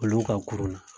Olu ka kurun na